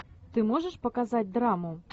ты можешь показать драму